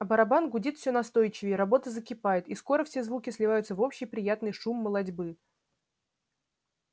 а барабан гудит всё настойчивее работа закипает и скоро все звуки сливаются в общий приятный шум молотьбы